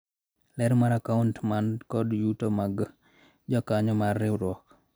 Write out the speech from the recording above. ler mar akaunt man kod yuto mag jokanyo mar riwruok